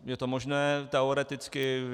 Je to možné teoreticky.